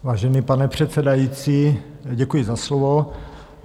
Vážený pane předsedající, děkuji za slovo.